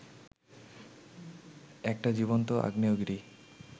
একটা জীবন্ত আগ্নেয়গিরি